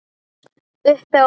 Uppi á borði?